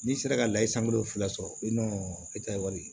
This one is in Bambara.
N'i sera ka layɛ san kelen fila sɔrɔ etaye